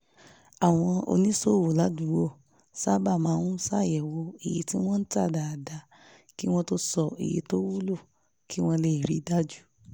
àwọn oníṣòwò ládùúgbò sábà máa ń ṣàyẹ̀wò iye tí wọ́n ń ta dáadáa kí wọ́n tó sọ iye tó wúlò kí wọ́n lè rí i dájú